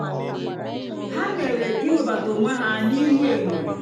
há mèrè íwébátá ónwé há n'íhú ényó.